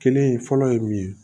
Kelen fɔlɔ ye mun ye